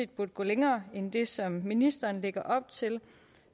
burde gå længere end det som ministeren lægger op til